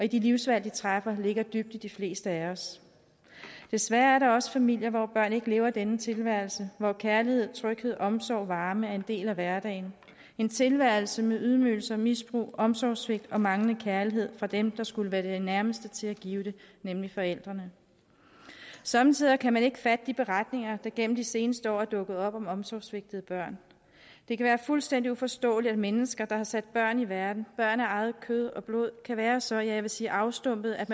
de livsvalg de træffer ligger dybt i de fleste af os desværre er der også familier hvor børn ikke lever denne tilværelse hvor kærlighed tryghed omsorg og varme er en del af hverdagen en tilværelse med ydmygelser og misbrug omsorgssvigt og manglende kærlighed fra dem der skulle være de nærmeste til at give det nemlig forældrene somme tider kan man ikke fatte de beretninger der gennem de seneste år er dukket op om omsorgssvigtede børn det kan være fuldstændig uforståeligt at mennesker der har sat børn i verden børn af eget kød og blod kan være så ja jeg vil sige afstumpede at